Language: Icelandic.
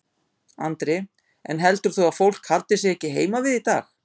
Andri: En heldur þú að fólk haldi sig ekki heima við í dag?